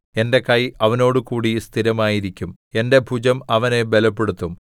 എന്റെ കൈ അവനോടുകൂടി സ്ഥിരമായിരിക്കും എന്റെ ഭുജം അവനെ ബലപ്പെടുത്തും